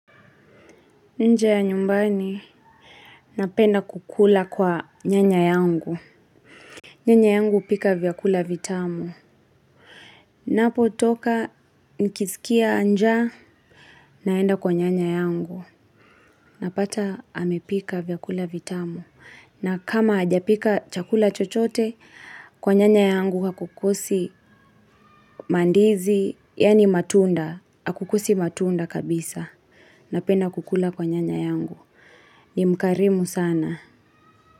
Nje ya nyumbani, napenda kukula kwa nyanya yangu. Nyanya yangu hupika vyakula vitamu. Napo toka, nikizikia nja, naenda kwa nyanya yangu. Napata, amepika vyakula vitamu. Na kama hajapika chakula chochote, kwa nyanya yangu hakukosi mandizi, yani matunda, hakukosi matunda kabisa. Napenda kukula kwa nyanya yangu. Ni mkarimu sana.